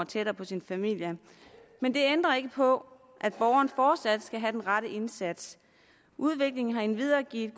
tættere på sin familie men det ændrer ikke på at borgeren fortsat skal have den rette indsats udviklingen har endvidere givet